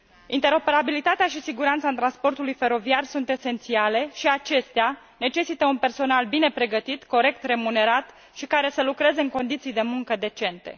Interoperabilitatea și siguranța transportului feroviar sunt esențiale și acestea necesită un personal bine pregătit, corect remunerat și care să lucreze în condiții de muncă decente.